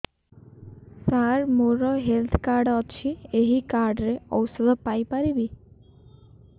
ସାର ମୋର health card ଅଛି ଏହି କାର୍ଡ ରେ ଔଷଧ ପାଇପାରିବି